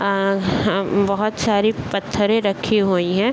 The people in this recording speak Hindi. अअ अं बहोत सारी पत्थरे रखी हुइ हैं।